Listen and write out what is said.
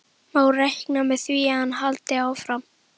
Má reikna með því að hann haldi áfram?